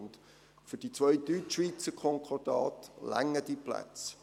Und für die zwei Deutschschweizer Konkordate reichen die Plätze.